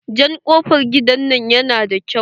Jan kofar gidan nan yana da kyau.